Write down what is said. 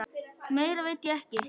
Meira veit ég ekki.